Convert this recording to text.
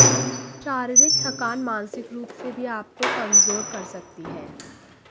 शारीरिक थकान मानसिक रूप से भी आपको कमजोर कर सकती है